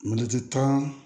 tan